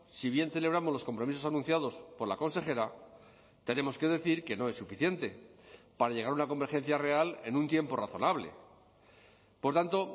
si bien celebramos los compromisos anunciados por la consejera tenemos que decir que no es suficiente para llegar a una convergencia real en un tiempo razonable por tanto